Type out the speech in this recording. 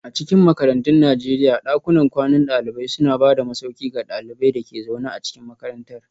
A cikin makarantun Najeriya, dakunan kwanan dalibai suna ba da masauki ga ɗaliban da ke zaune a cikin makarantar.